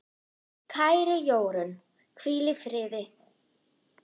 Kæra Jórunn, hvíl í friði.